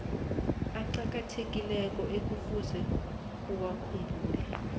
aqakathekileko ekufuze uwakhumbule